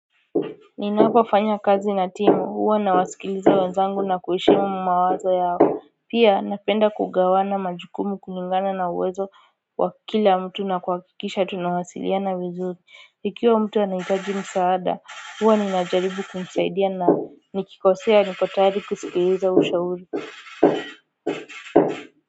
Ninapo fanya kazi na timu huwa nawasikiliza wenzangu na kuheshimu mawazo yao pia napenda kugawana majukumu kulingana na uwezo wa kila mtu na kuwakikisha tunawasiliana vizuri. Hikiwa mtu anahitaji msaada huwa ninajaribu kumsaidia na nikikosea nikotari kusikiliza ushauri.